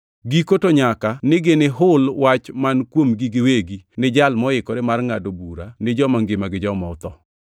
Giko to nyaka ni ginihul wach man kuomgi giwegi ni Jal moikore mar ngʼado bura ni joma ngima gi joma otho.